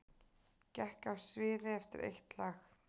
Gekk af sviði eftir eitt lag